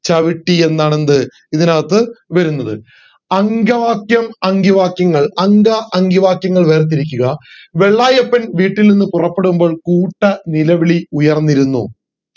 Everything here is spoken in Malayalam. ചവിട്ടി എന്നാണ് എന്ത് ഇതിനകത്ത് വരുന്നത് അങ്കവാക്യം അങ്കിവാക്യം അങ്ക അന്കിവാക്യം വേർതിരിക്കുക വെള്ളായപ്പൻ വീട്ടിൽ നിന്നും പുറപ്പെടുമ്പോൾ കൂട്ട നിലവിളി ഉയർന്നിരുന്നു